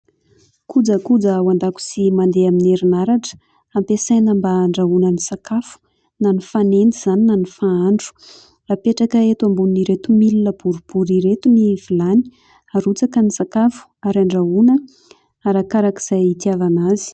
Kojakoja ao andakojia mandeha amin'ny herin'aratra ampiasaina mba andrahoana ny sakafo ; na ny fanendy izany na ny fahandro. Apetraka eto ambonin'ireto milina boribory ireto ny vilany, arotsaka ny sakafo ary andrahoana arak'izay itiavana azy.